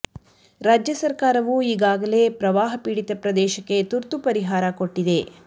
ರಾಜ್ಯ ಸರಕಾರವು ಈಗಾಗಲೇ ಪ್ರವಾಹ ಪೀಡಿತ ಪ್ರದೇಶಕ್ಕೆ ತುರ್ತು ಪರಿಹಾರ ಕೊಟ್ಟಿದೆ